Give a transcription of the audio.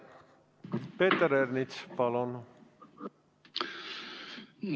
Peeter Ernits, palun!